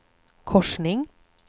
korsning